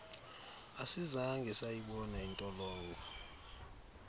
asizange sayibona intolongo